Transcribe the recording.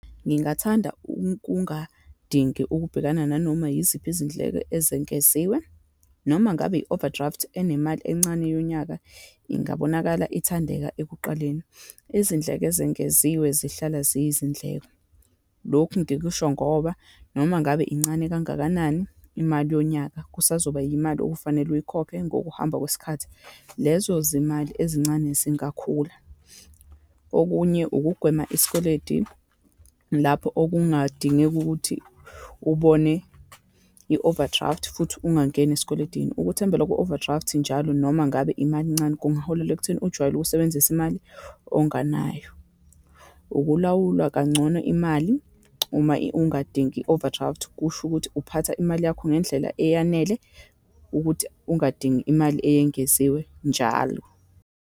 Ngingathanda ukungadingi ukubhekana nanoma yiziphi izindleko ezengeziwe, noma ngabe i-overdraft enemali encane yonyaka, ingabonakala ithandeka ekuqaleni. Izindleko ezengeziwe zihlala ziyizindleko, lokhu ngikusho ngoba noma ngabe incane kangakanani imali yonyaka, kusazoba imali okufanele uyikhokhe ngokuhamba kwesikhathi. Lezo zimali ezincane zingakhula. Okunye, ukugwema isikweleti lapho okungadingeka ukuthi ubone i-overdraft, futhi ungangeni eskweleteni. Ukuthembela ku-overdraft njalo, noma ngabe imali encane, kungaholela ekutheni ujwayele ukusebenzisa imali onganayo. Ukulawulwa kangcono imali uma ungadingi i-overdraft, kusho ukuthi uphatha imali yakho ngendlela eyanele, ukuthi ungadingi imali eyengeziwe njalo.